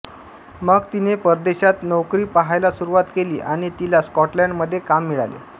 मग तिने परदेशात नोकरी पहायला सुरुवात केली आणि तिला स्कॉटलंडमध्ये काम मिळाले